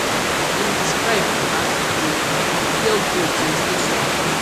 im describe as um pure gold to im station